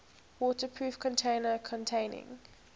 waterproof container containing